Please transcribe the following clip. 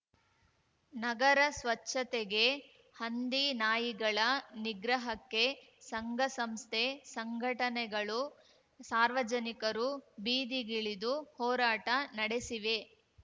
ನಗರ ಸ್ವಚ್ಛತೆಗೆ ಹಂದಿನಾಯಿಗಳ ನಿಗ್ರಹಕ್ಕೆ ಸಂಘಸಂಸ್ಥೆ ಸಂಘಟನೆಗಳು ಸಾರ್ವಜನಿಕರು ಬೀದಿಗಿಳಿದು ಹೋರಾಟ ನಡೆಸಿವೆ